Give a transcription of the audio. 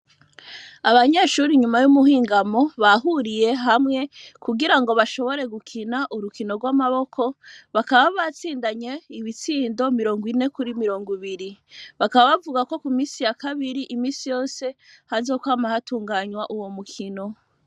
Abanyeshure, inyuma y'umuhingamo, bahuriye hamwe, kugira ngo, bashobore gukina, urukino rw'amaboko, bakaba batsindanye, ibitsindo mirongo ine, kuri mirongo ibiri; bakaba bavuga ko, ku minsi ya kabiri, iminsi yose, hazokwama hatunganywa, uwo mukino.